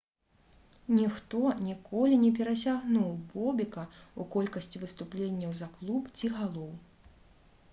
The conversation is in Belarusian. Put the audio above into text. ніхто ніколі не перасягнуў бобека ў колькасці выступленняў за клуб ці галоў